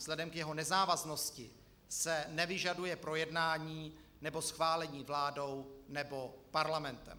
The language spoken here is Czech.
Vzhledem k jeho nezávaznosti se nevyžaduje projednání nebo schválení vládou nebo parlamentem.